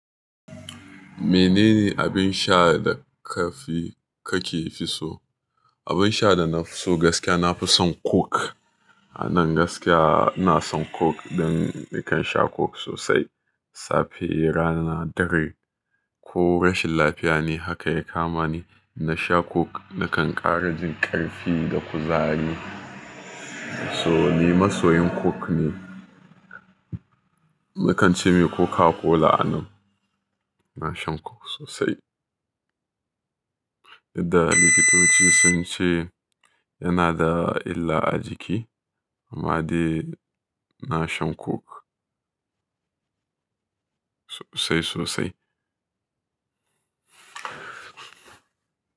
Menene abin sha da ƙarfi kake fi so? Abin sha da na fi so gaskiya nafi son coke. A nan gaskiya ina son coke dan nakan sha coke sosai. Safe, rana, dare ko rashin lafiya ne haka ya kama ni, na sha coke nakan ƙara jin ƙarfi da kuzari. So ni masoyin coke ne. Nakan cemai coca-cola a nan. Ina shan coke sosai. Idan likitoci sun ce yana da illa a jiki, amma dai na shan coke sosai sosai.